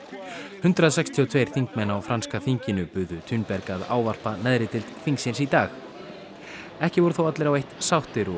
hundrað sextíu og tvo þingmenn á franska þinginu buðu Thunberg að ávarpa neðri deild þingsins í dag ekki voru þó allir á eitt sáttir og